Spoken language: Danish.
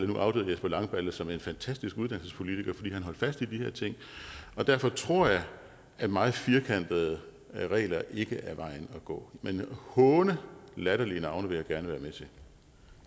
nu afdøde jesper langballe som en fantastisk uddannelsespolitiker fordi han holdt fast i de her ting og derfor tror jeg at meget firkantede regler ikke er vejen at gå men at håne latterlige navne vil